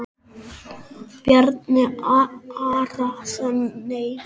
Bjarni Arason Nei.